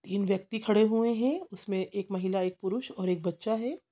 तीन व्यक्ति खड़े हुए है उसमे एक महिला एक पुरुष और एक बच्चा है।